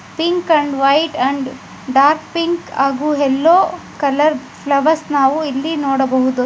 Pink and white ಹಾಗೂ dark pink yellow colour flowers ನಾವು ಇಲ್ಲಿ ನೋಡಬಹುದು.